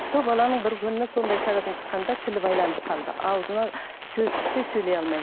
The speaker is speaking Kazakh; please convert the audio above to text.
сол баланың бір күні сондай шарадан шыққанда тілі байланып қалды аузына сөз түспей сөйлей алмай